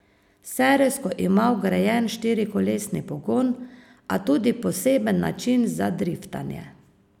Serijsko ima vgrajen štirikolesni pogon, a tudi poseben način za driftanje.